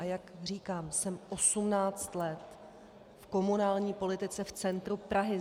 A jak říkám, jsem 18 let v komunální politice v centru Prahy.